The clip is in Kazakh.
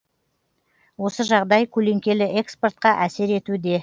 осы жағдай көлеңкелі экспортқа әсер етуде